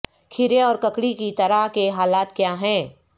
کھیرے اور ککڑی کی طرح کے حالات کیا ہیں